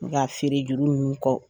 N ka feere juru ninnu kɔ